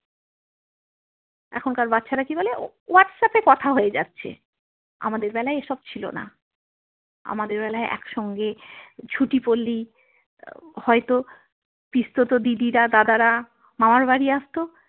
এখনকার বাচ্ছারা কি বলে whatsapp এ কথা হয়ে যাচ্ছে আমাদের বেলায় এসব ছিল না আমাদের বেলায় একসঙ্গে ছুটি পড়লেই হয়ত পিস্তত দিদিরা দাদারা মামারবাড়ি আসত।